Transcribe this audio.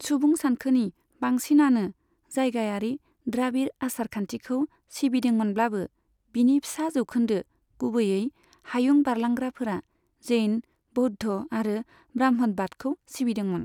सुबुं सानखोनि बांसिनानो जायगायारि द्राबिड़ आसार खान्थिखौ सिबिदोंमोनब्लाबो, बिनि फिसा जौखोन्दो, गुबैयै हायुं बारलांग्राफोरा, जैन, बौद्ध आरो ब्राह्मणबादखौ सिबिदोंमोन।